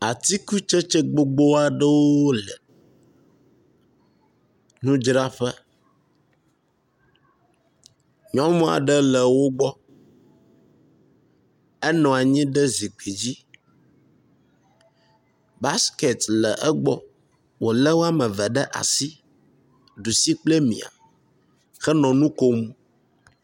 Atikutsetse gbogbo aɖewo le nudzraƒe. nyɔnu aɖe le wo gbɔ enɔ anyi ɖe zikpui dzi. basiketi le egbɔ wo le wɔme eve ɖea si. Ɖusi kple mia henɔ nu kom.